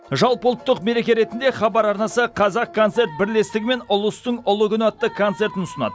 жалпыұлттық мереке ретінде хабар арнасы қазақконцерт бірлестігімен ұлыстың ұлы күні атты концертін ұсынады